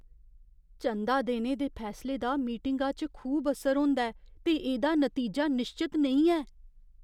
चंदा देने दे फैसले दा मीटिंगा च खूब असर होंदा ऐ ते एह्दा नतीजा निश्चत नेईं ऐ।